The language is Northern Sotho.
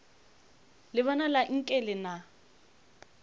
le bonala nke le na